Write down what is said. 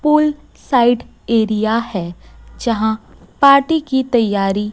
पुल side area है जहां party की तैयारी--